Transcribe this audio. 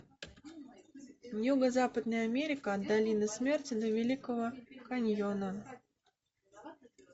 юго западная америка от долины смерти до великого каньона